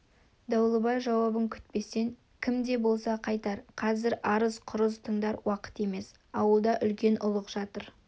дауылбай жауабын күтпестен кім де болса қайтар қазір арыз-құрыз тыңдар уақыт емес ауылда үлкен ұлық жатыр